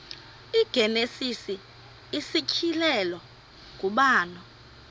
igenesis isityhilelo ngubani